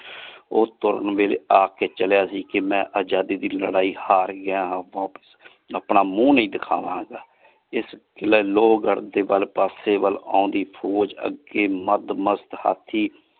ਓਹ ਤੁਰੁਣ ਵੇਲੇ ਆਖ ਕੇ ਚੜਿਆ ਸੀ ਕੇ ਮੈਂ ਆਜ਼ਾਦੀ ਦੀ ਹਾਰ ਗਯਾ ਆਪਣਾ ਮੁੰਹ ਨਹੀ ਦੇਖਾਵਾਂਗਾ ਇਸ ਲਯੀ ਲੋਵ ਗਢ਼ ਦੇ ਪਾਸੇ ਵਾਲ ਆਉਂਦੀ ਫੋਜ ਅੱਗੇ ਮਦ ਮਸਤ ਹਾਥੀ।